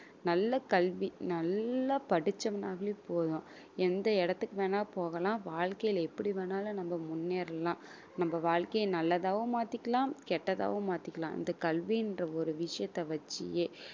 நல்ல கல்வி நல்லா படிச்சோன்னாவே போதும் எந்த இடத்துக்கு வேணா போகலாம் வாழ்க்கையில எப்படி வேணாலும் நம்ம முன்னேறலாம் நம்ம வாழ்க்கைய நல்லதாவும் மாத்திக்கலாம் கெட்டதாகவும் மாத்திக்கலாம் இந்த கல்வின்ற ஒரு விஷயத்தை வச்சே